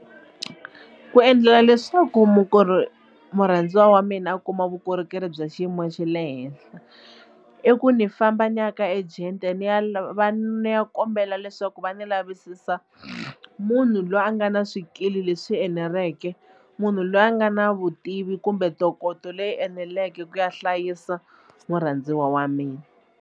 Ku endlela leswaku murhandziwa wa mina a kuma vukorhokeri bya xiyimo xa le henhla i ku ni famba ni ya ka agent ni ya va va ni ya kombela leswaku ku va ni lavisisa munhu loyi a nga na swikili leswi eneleke munhu loyi a nga na vutivi kumbe ntokoto leyi eneleke ku ya hlayisa murhandziwa wa mina.